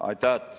Aitäh!